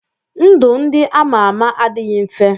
Ndụ ndị ama ama adịghị mfe.